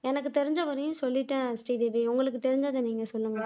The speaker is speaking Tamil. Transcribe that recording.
எனக்கு தெரிஞ்சவரையும் சொல்லிட்டேன் ஸ்ரீதேவி உங்களுக்கு தெரிஞ்சதை நீங்க சொல்லுங்க